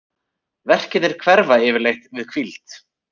Verkirnir hverfa yfirleitt við hvíld.